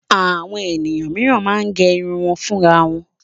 Àwọn ènìyàn mìíràn máa ń gẹ irun wọn fúnra wọn.